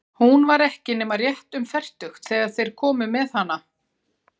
Hún var ekki nema rétt um fertugt þegar þeir komu með hana.